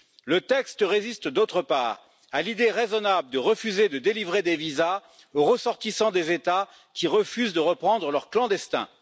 Le texte résiste, d'autre part, à l'idée raisonnable de refuser de délivrer des visas aux ressortissants des États qui refusent de reprendre leurs clandestins.